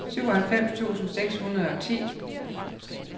syvoghalvfems tusind seks hundrede og ti